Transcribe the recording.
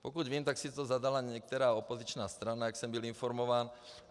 Pokud vím, tak si to zadala některá opoziční strana, jak jsem byl informován.